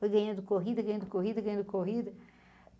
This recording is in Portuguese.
Foi ganhando corrida, ganhando corrida, ganhando corrida.